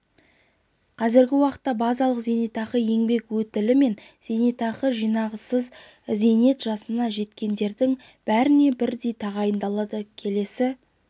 қазіргі уақытта базалық зейнетақы еңбек өтілі мен зейнетақы жинағынсыз зейнет жасына жеткендердің бәріне бірдей тағайындалады келесі